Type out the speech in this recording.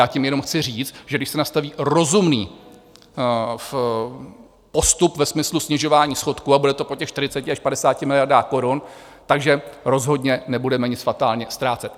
Já tím jenom chci říct, že když se nastaví rozumný postup ve smyslu snižování schodku a bude to po těch 40 až 50 miliardách korun, takže rozhodně nebudeme nic fatálně ztrácet.